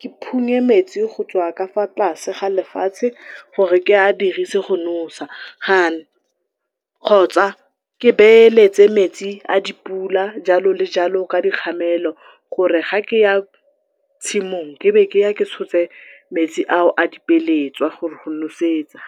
ke phunye metsi go tswa ka fa tlase ga lefatshe gore ke a dirise go nosa , kgotsa ke beeletse metsi a dipula jalo le jalo ka dikgamelo, gore ga kea tshimong ebe ke ya ke tshotse metsi ao a di peeletswa gore go nosetsa.